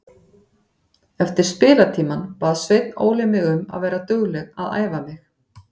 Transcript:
Eftir spilatímann bað Sveinn Óli mig um að vera dugleg að æfa mig.